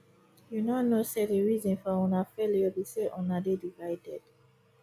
you no know say the reason for una failure be say una dey divided